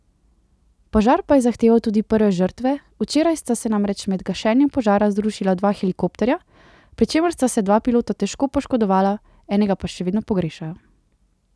Požar pa je zahteval tudi prve žrtve, včeraj sta se namreč med gašenjem požara zrušila dva helikopterja, pri čemer sta se dva pilota težko poškodovala, enega pa še vedno pogrešajo.